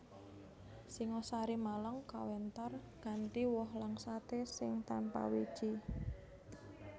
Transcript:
Singosari Malang kawentar kanthi woh langsaté sing tanpa wiji